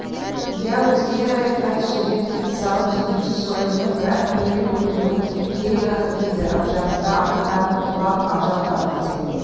иә өзгелер айқай-сүрең салып жеткенше сойылмен бір-ақ періп өлтіруім керек-ақ еді ар жағында аттан құлап ажал тапты деп